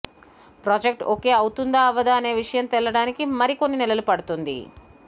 project okay అవుతుందా అవ్వదా అనే విషయం తేలడానికి మరికొన్ని నెలలు పడుతుంది